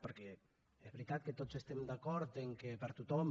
perquè és veritat que tots estem d’acord que per a tothom